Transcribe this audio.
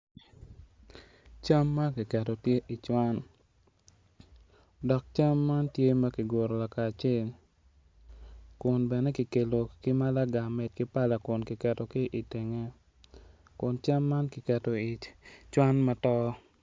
Cam ma kiketo tye i cwan dok cam man tye ka ki guru kakacel kun bene kun bene kikelo kin malago ki medo ki pala kun kiketo ki itenge kun cam man kiketo i cwan ma to